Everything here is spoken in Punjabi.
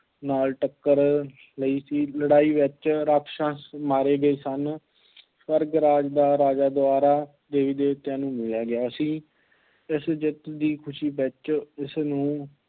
ਨਾਲ ਟੱਕਰ ਲਈ ਸੀ, ਲੜਾਈ ਵਿੱਚ ਰਾਖਸ਼ਾਂਸ ਮਾਰੇ ਗਏ ਸਨ, ਸਵਰਗ ਰਾਜ ਦਾ ਰਾਜ ਦੁਬਾਰਾ ਦੇਵੀ ਦੇਵਤਿਆਂ ਨੂੰ ਮਿਲ ਗਿਆ ਸੀ, ਇਸ ਜਿੱਤ ਦੀ ਖੁਸ਼ੀ ਵਿੱਚ ਉਸਨੂੰ